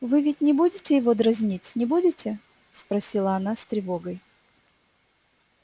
вы ведь не будете его дразнить не будете спросила она с тревогой